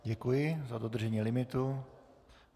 Děkuji za dodržení limitu.